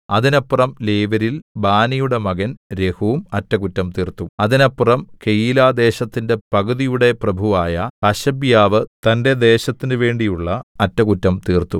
അതിനപ്പുറം ലേവ്യരിൽ ബാനിയുടെ മകൻ രെഹൂം അറ്റകുറ്റം തീർത്തു അതിനപ്പുറം കെയീലാദേശത്തിന്റെ പകുതിയുടെ പ്രഭുവായ ഹശബ്യാവ് തന്റെ ദേശത്തിന് വേണ്ടിയുള്ള അറ്റകുറ്റം തീർത്തു